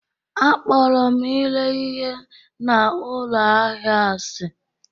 Akpọrọ m ire ihe na ụlọ ahịa asị